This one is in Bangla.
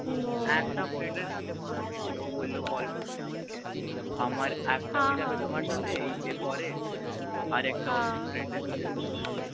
একটা friend এর সাথে কথা হয়েছিল ও বললো call করতে আমার হ্য়াঁ হ্য়াঁ একটা হয়ে যাবে তোমার সাথে এর পরে হ্য়াঁ আর একটা friend এর সাথে হয়ে যাবে